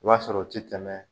I b'a sɔrɔ o ti tɛmɛ